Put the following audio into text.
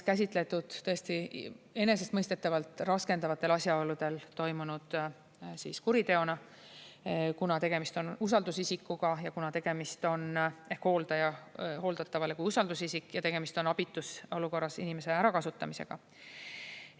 Ja igal pool on seda enesestmõistetavalt käsitletud raskendavatel asjaoludel toimunud kuriteona, kuna tegemist on usaldusisikuga, ehk ta on hooldatavale kui usaldusisik, ja tegemist on abitus olukorras inimeste ärakasutamisega.